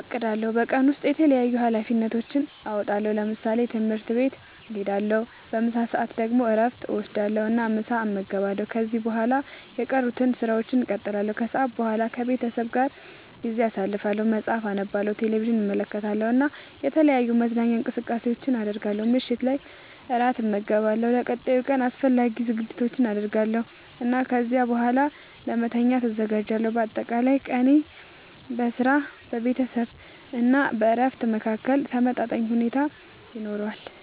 አቅዳለሁ። በቀን ውስጥ የተለያዩ ኃላፊነቶቼን እወጣለሁ። ለምሳሌ፦ ትምህርት ቤት እሄዳለሁ። በምሳ ሰዓት ደግሞ እረፍት እወስዳለሁ እና ምሳ እመገባለሁ። ከዚያ በኋላ የቀሩትን ሥራዎች እቀጥላለሁ። ከሰዓት በኋላ ከቤተሰቤ ጋር ጊዜ አሳልፋለሁ፣ መጽሐፍ አነባለሁ፣ ቴሌቪዥን እመለከታለሁ እና የተለያዩ መዝናኛ እንቅስቃሴዎችን አደርጋለሁ። ምሽት ላይ እራት እመገባለሁ፣ ለቀጣዩ ቀን አስፈላጊ ዝግጅቶችን አደርጋለሁ እና ከዚያ በኋላ ለመተኛት እዘጋጃለሁ። በአጠቃላይ ቀኔ በሥራ፣ በቤተሰብ ጊዜ እና በእረፍት መካከል ተመጣጣኝ ሁኔታ ይኖረዋል።